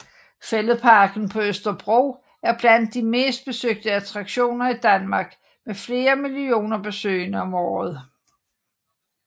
Fælledparken på Østerbro er blandt de mest besøgte attraktioner i Danmark med flere millioner besøgende om året